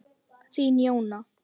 Þín Jóna.